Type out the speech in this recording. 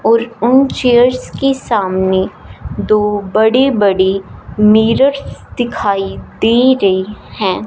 और उन चेयर्स के सामने दो बड़ी बड़ी मिरर्स दिखाई दे रही हैं।